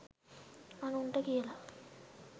අනුන්ට කියලා